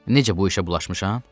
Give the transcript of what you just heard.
Necə bu işə bulaşmışam?